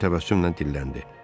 Den təbəssümlə dilləndi.